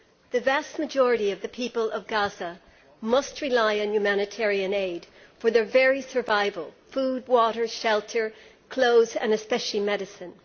The vast majority of the people of Gaza must rely on humanitarian aid for their very survival food, water, shelter, clothes and, especially, medicine.